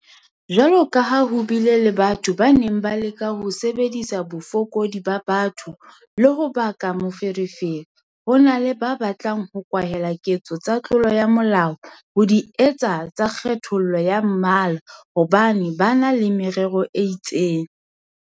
Jwalokaha ho bile le batho ba neng ba leka ho sebedisa bofokodi ba batho le ho baka meferefere, ho na le ba batlang ho kwahela ketso tsa tlolo ya molao ka ho di etsa tsa kgethollo ya mmala hobane ba na le merero e itseng.